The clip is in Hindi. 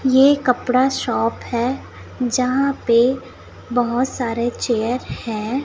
ये कपड़ा शॉप है यहां पे बहुत सारे चेयर है।